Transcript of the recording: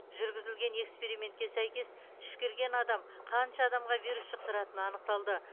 жүргізілген экспериментке сәйкес түшкірген адам қанша адамға вирус жұқтыратыны анықталды